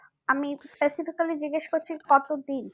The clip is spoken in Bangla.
আমি specifically জিজ্ঞেস করছি কত দিন